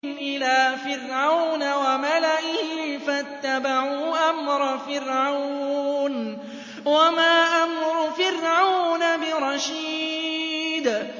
إِلَىٰ فِرْعَوْنَ وَمَلَئِهِ فَاتَّبَعُوا أَمْرَ فِرْعَوْنَ ۖ وَمَا أَمْرُ فِرْعَوْنَ بِرَشِيدٍ